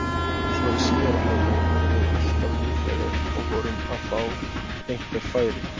Svo í síðari hálfleik vorum við alltaf líklegri og vorum að fá einhver færi.